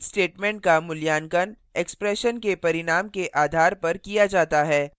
switch statement का मूल्यांकन expression के परिणाम के आधार पर किया जाता है